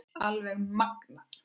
Alveg magnað.